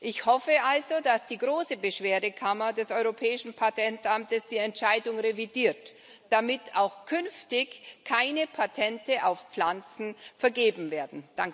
Ich hoffe also, dass die Große Beschwerdekammer des Europäischen Patentamtes die Entscheidung revidiert, damit auch künftig keine Patente auf Pflanzen vergeben werden.